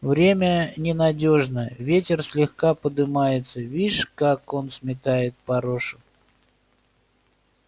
время ненадёжно ветер слегка подымается вишь как он сметает порошу